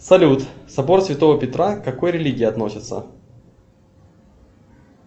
салют собор святого петра к какой религии относится